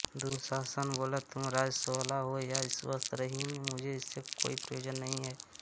दुःशासन बोला तुम रजस्वला हो या वस्त्रहीन मुझे इससे कोई प्रयोजन नहीं है